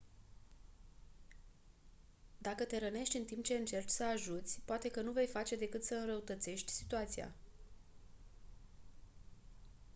dacă te rănești în timp ce încerci să ajuți poate că nu vei face decât să înrăutățești situația